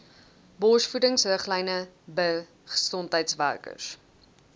borsvoedingsriglyne bir gesondheidswerkers